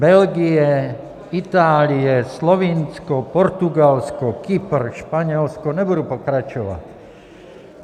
Belgie, Itálie, Slovinsko, Portugalsko, Kypr, Španělsko - nebudu pokračovat.